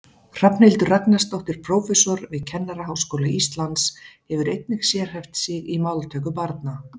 Hrafnhildur Ragnarsdóttir prófessor við Kennaraháskóla Íslands hefur einnig sérhæft sig í máltöku barna.